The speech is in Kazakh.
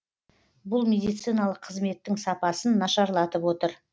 бұл медициналық қызметтің сапасын нашарлатып отыр